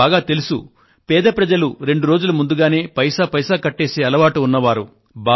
మీకు బాగా తెలుసు పేద ప్రజలు ఎప్పుడూ 23 రోజులు ముందుగానే వారి బకాయిలను తీర్చివేసే అలవాటు ఉన్నవారు